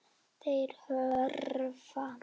Þeir hörfa.